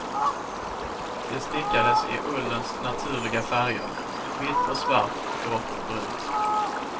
De stickades i ullens naturliga färger, vitt och svart, grått och brunt.